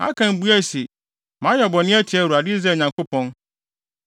Akan buae se, “Mayɛ bɔne atia Awurade, Israel Nyankopɔn.